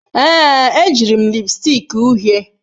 Ee, ejiri m lipstick uhie.